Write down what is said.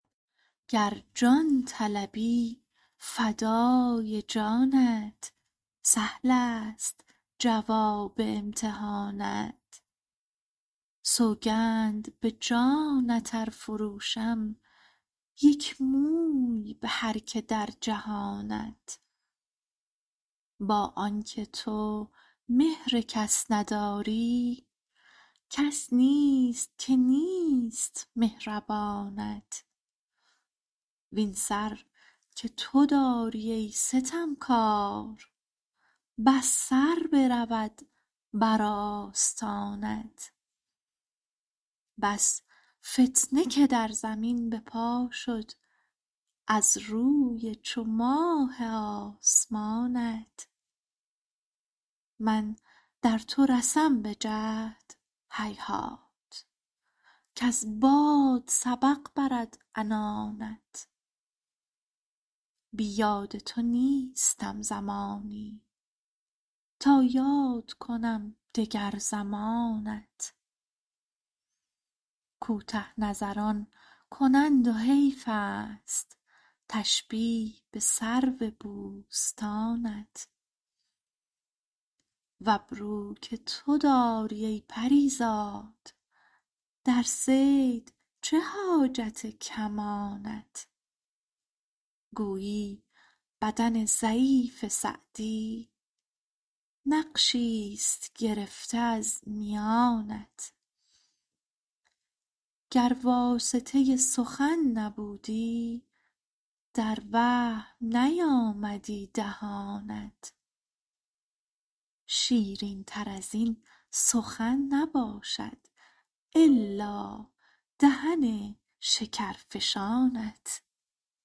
گر جان طلبی فدای جانت سهلست جواب امتحانت سوگند به جانت ار فروشم یک موی به هر که در جهانت با آن که تو مهر کس نداری کس نیست که نیست مهربانت وین سر که تو داری ای ستمکار بس سر برود بر آستانت بس فتنه که در زمین به پا شد از روی چو ماه آسمانت من در تو رسم به جهد هیهات کز باد سبق برد عنانت بی یاد تو نیستم زمانی تا یاد کنم دگر زمانت کوته نظران کنند و حیفست تشبیه به سرو بوستانت و ابرو که تو داری ای پری زاد در صید چه حاجت کمانت گویی بدن ضعیف سعدی نقشیست گرفته از میانت گر واسطه سخن نبودی در وهم نیامدی دهانت شیرینتر از این سخن نباشد الا دهن شکرفشانت